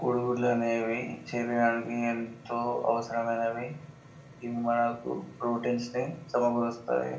కోడి గుడ్లు అనేవి మన శరీరానికి ఎంతో అవసరమైనవి మనకు ప్రోటీన్స్ నీ సమకూరుస్తాయి.